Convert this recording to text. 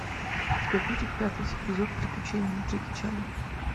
у тебя будет пятый эпизод приключения джеки чана